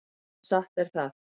Já, satt er það.